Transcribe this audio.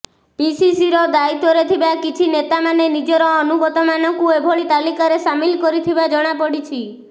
ପିସିସିର ଦାୟିତ୍ୱରେ ଥିବା କିଛି ନେତାମାନେ ନିଜର ଅନୁଗତଙ୍କୁ ଏଭଳି ତାଲିକାରେ ସାମିଲ କରିଥିବା ଜଣାପଡ଼ିଛି